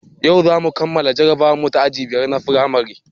Yau zamu kammala jarabawarmu ta aji biyar na firamare